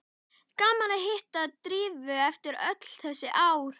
Gaman að hitta Drífu eftir öll þessi ár.